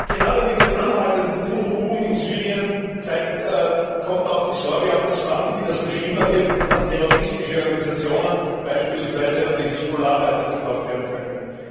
Gerade mit den anhaltenden Unruhen in Syrien kommt auch die Sorge auf, dass Waffen, die das Regime erwirbt, an terroristische Organisationen, beispielsweise an die Hisbollah, weiterverkauft werden könnten.